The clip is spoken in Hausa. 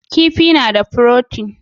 Kifi na da furotin